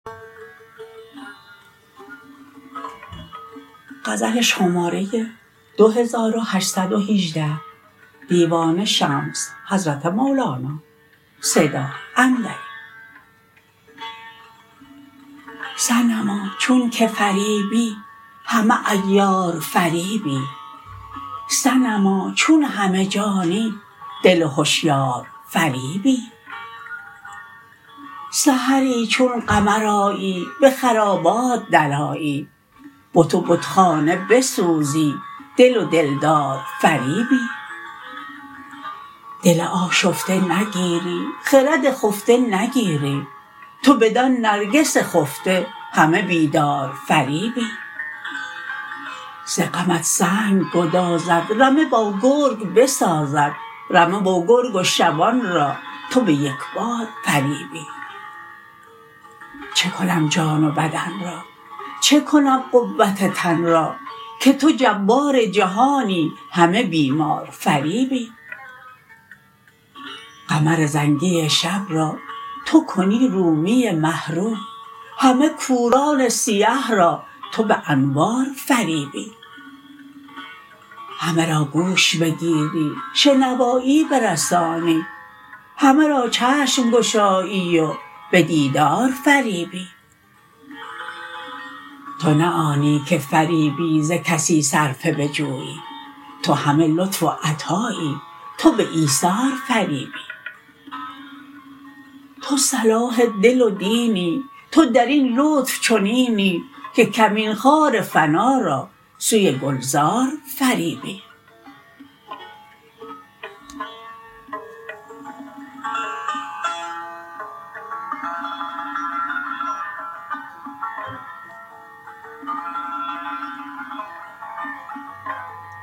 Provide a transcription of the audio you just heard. صنما چونک فریبی همه عیار فریبی صنما چون همه جانی دل هشیار فریبی سحری چون قمر آیی به خرابات درآیی بت و بتخانه بسوزی دل و دلدار فریبی دل آشفته نگیری خرد خفته نگیری تو بدان نرگس خفته همه بیدار فریبی ز غمت سنگ گدازد رمه با گرگ بسازد رمه و گرگ و شبان را تو به یک بار فریبی چه کنم جان و بدن را چه کنم قوت تن را که تو جبار جهانی همه بیمار فریبی قمر زنگی شب را تو کنی رومی مه رو همه کوران سیه را تو به انوار فریبی همه را گوش بگیری شنوایی برسانی همه را چشم گشایی و به دیدار فریبی تو نه آنی که فریبی ز کسی صرفه بجویی تو همه لطف و عطایی تو به ایثار فریبی تو صلاح دل و دینی تو در این لطف چنینی که کمین خار فنا را سوی گلزار فریبی